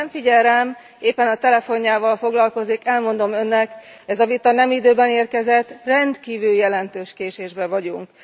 Bár nem figyel rám, éppen a telefonjával foglalkozik, elmondom Önnek, ez a vita nem időben érkezett, rendkívül jelentős késésben vagyunk!